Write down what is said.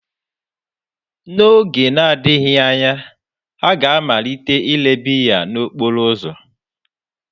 N'oge na-adịghị anya, ha ga-amalite ile biya n'okporo ụzọ.